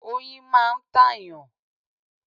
Oyin máa ń tàyàn.